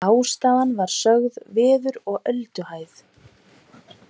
Ástæðan var sögð veður og ölduhæð